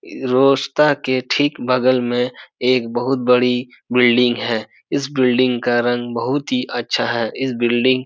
रास्ता के ठीक बगल में एक बहुत बड़ी बिल्डिंग है। इस बिल्डिंग का रंग बहुत ही अच्छा है। इस बिल्डिंग --